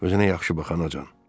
Özünə yaxşı baxanacan.